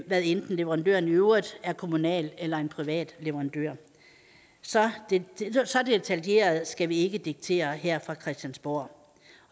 hvad enten leverandøren i øvrigt er kommunal eller en privat leverandør så detaljeret skal vi ikke diktere det her fra christiansborg